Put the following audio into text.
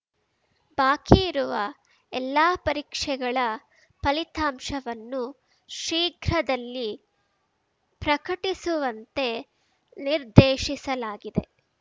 ಬಾಕಿ ಇರುವ ಎಲ್ಲಾ ಪರೀಕ್ಷೆಗಳ ಫಲಿತಾಂಶವನ್ನು ಶೀಘ್ರದಲ್ಲಿ ಪ್ರಕಟಿಸುವಂತೆ ನಿರ್ದೇಶಿಸಲಾಗಿದೆ